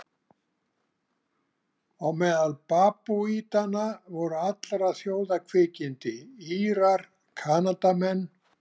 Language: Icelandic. Á meðal babúítanna voru allra þjóða kvikindi, Írar, Kanadamenn